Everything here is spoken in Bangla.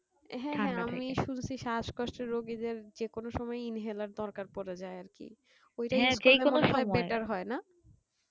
আমি শুনছি শাসকষ্ট রুগীদের যেকোনো সময় inhaler দরকার পরে যাই আর কি